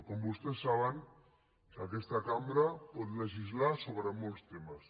com vostès saben aquesta cambra pot legislar sobre molts temes